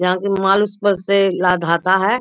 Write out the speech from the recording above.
यहाँ पे उस पर से लादाता है।